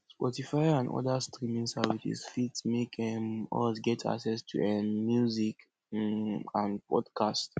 sportify and oda streaming service fit make um us get access to um music um and podcast